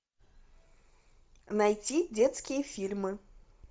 найди детские фильмы